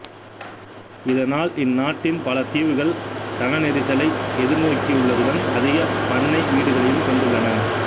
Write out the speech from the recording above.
இதனால் இந்நாட்டின் பல தீவுகள் சன நெரிசலை எதிர் நோக்கியுள்ளதுடன் அதிக பண்ணை வீடுகளையும் கொண்டுள்ளன